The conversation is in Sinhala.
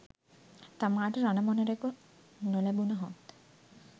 තමාට රණ මොණරෙකු නොලැබුණහොත්